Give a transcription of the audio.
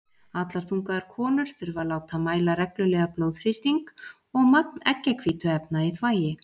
Allar þungaðar konur þurfa að láta mæla reglulega blóðþrýsting og magn eggjahvítuefna í þvagi.